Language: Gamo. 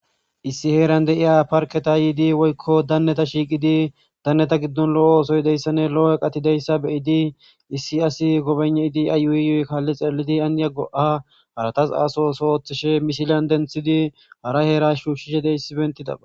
issi heeran de7iya parketa yiidi woykko danneta shiiqidi danneta giddon lo7o oosoydeyssane lo7o7e qatideyssa beyidi issi asi gobeneidi ayuuyiyuy kaalli xeelidi aniya go7a haratas aso so oththishe mishilyan denthidi hara heera shuushishe de issi bentidaba